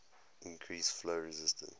increase flow resistance